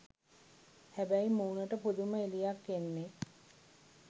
හැබැයි මූණට පුදුම එළියක් එන්නෙ